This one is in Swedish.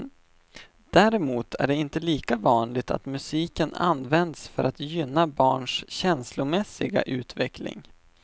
Däremot är det inte lika vanligt att musiken används för att gynna barns känslomässiga utveckling.